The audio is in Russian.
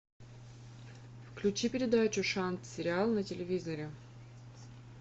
включи передачу шанс сериал на телевизоре